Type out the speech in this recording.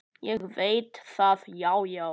Ég veit það, já, já.